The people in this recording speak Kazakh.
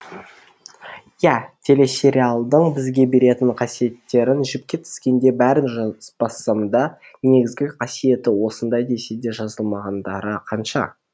иә телесериалдың бізге беретін қасиеттерін жіпке тізгендей бәрін жазбасамда негізгі қасиеті осындай деседе жазылмағандары қанша